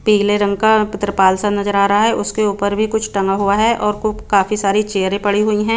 पीले रंग का पत्रपाल सा नजर आ रहा है उसके ऊपर भी कुछ टंगा हुआ है और कु काफी सारी चेयरे पड़ी हुई है।